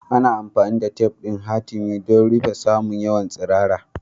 Ana amfani da tef ɗin hatimi don rufe saman wayar tsirara.